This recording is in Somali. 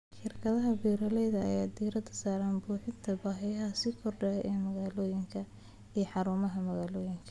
Shirkadaha beeralayda ayaa diiradda saaraya buuxinta baahiyaha sii kordhaya ee magaalooyinka iyo xarumaha magaalooyinka.